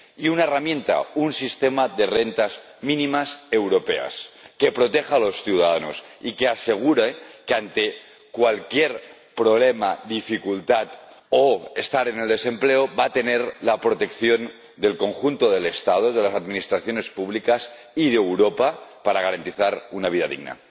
E instaurar una herramienta, un sistema de rentas mínimas europeas que proteja a los ciudadanos y que les asegure que, ante cualquier problema o dificultad, o cuando estén en desempleo, van a tener la protección del conjunto del Estado, de las administraciones públicas y de Europa para garantizarles una vida digna.